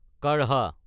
কাঢ়া